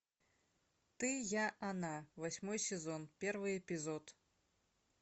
ты я она восьмой сезон первый эпизод